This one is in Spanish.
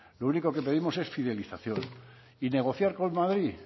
lo único que pedimos es fidelización y negociar con madrid